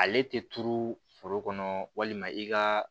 Ale tɛ turu foro kɔnɔ walima i ka